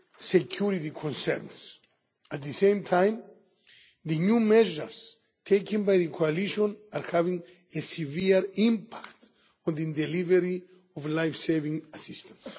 security concerns. At the same time, the new measures taken by the coalition are having a severe impact on the delivery of life saving assistance.